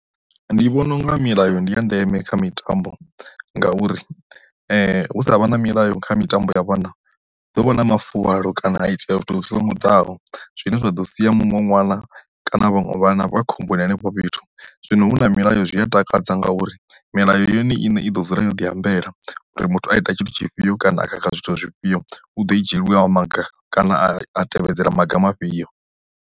Ndi vhona unga milayo ndi ya ndeme kha mitambo ngauri hu sa vha na milayo kha mitambo ya vhana ḓo vha na mafuvhalo kana a itela zwithu zwa ngoḓaho, zwine zwa ḓo sia muṅwe ṅwana kana vhaṅwe vhana vha khomboni henefho fhethu, zwino hu na milayo zwi a takadza nga uri milayo yone i ne i ḓo dzula yo ḓiambela uri muthu a ita tshithu tshifhio kana kha kha zwithu zwifhio u ḓo i dzhielwe wa maga kana a tevhedzela maga mafhio.